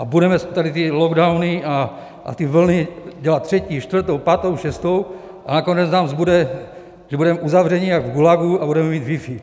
A budeme tady ty lockdowny a ty vlny dělat třetí, čtvrtou, pátou, šestou a nakonec nám zbude, že budeme uzavřeni jako v gulagu a budeme mít wifi.